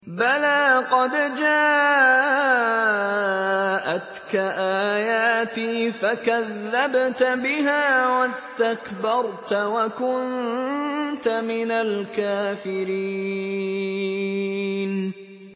بَلَىٰ قَدْ جَاءَتْكَ آيَاتِي فَكَذَّبْتَ بِهَا وَاسْتَكْبَرْتَ وَكُنتَ مِنَ الْكَافِرِينَ